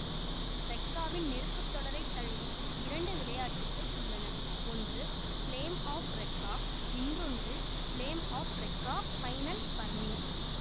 ரெக்காவின் நெருப்பு தொடரை தழுவி இரண்டு விளையாட்டுக்கள் உள்ளன ஒன்று ஃப்ளேம் ஆஃப் ரெக்கா இன்னொன்று flame of Recca final burning